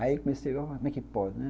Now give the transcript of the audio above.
Aí comecei a ver como é que pode, né?